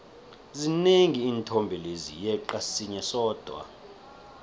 zinengi iinthombe lezi yeqa sinye sodwa